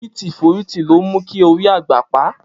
Foriti foriti lo mu ki ori agba pa.